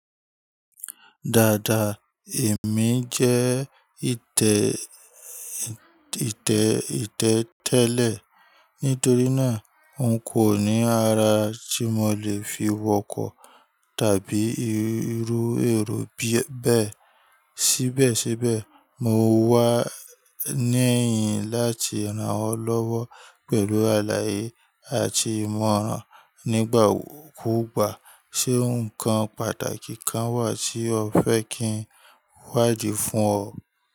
Dáadáa, èmi jẹ́ ìtẹ̀ ìtẹ̀ ìtẹ́ tẹ́lẹ̀. Nítorí náà, n kò ní ara tí mo lè fi wọkọ̀ tàbí rírú èrò b bẹ́ẹ̀. Sí bẹ́ẹ̀ sí bẹ́ẹ̀, mo wá níẹ̀yìn láti ràn ọ́ lọ́wọ́ pẹ̀lú àlàyé àti ìmọ̀ràn nígbà kúùgbà. Ṣé ǹkan pàtàkì kan wà tí o fẹ́ kí n wádìí fún ọ?